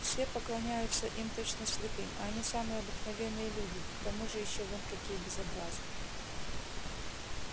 все поклоняются им точно святым а они самые обыкновенные люди да к тому же ещё вон какие безобразные